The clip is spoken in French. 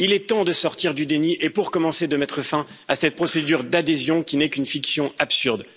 Il est temps de sortir du déni et, pour commencer, de mettre fin à cette procédure d'adhésion qui n'est qu'une fiction absurde.